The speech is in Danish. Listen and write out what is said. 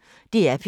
DR P1